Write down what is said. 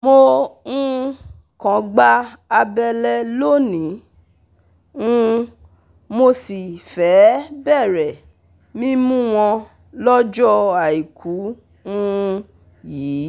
Mo um kan gba àbẹ̀lẹ̀ lóní, um mo sì fẹ́ẹ̀ bẹ̀rẹ̀ mímú wọn lọ́jọ́ Àìkú um yìí